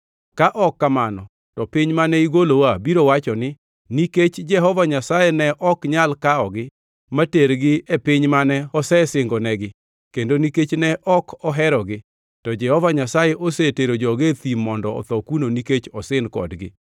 Ka ok kamano to piny mane igolowa biro wacho ni, ‘Nikech Jehova Nyasaye ne ok nyal kawogi matergi e piny mane osesingonegi kendo nikech ne ok oherogi, to Jehova Nyasaye osetero joge e thim mondo otho kuno nikech osin kodgi.’